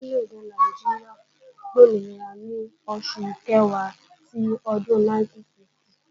Orí lédè Nàìjíríà gbòmìnira ní oṣù Kẹ̀wá ti ọdún 1960